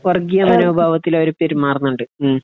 വർഗീയ മനോഭാവത്തിൽ അവർ പെരുമാറുന്നുണ്ട് മ്മ്